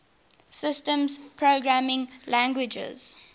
systems programming languages